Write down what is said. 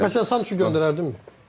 Məsələn sən kimi göndərərdin?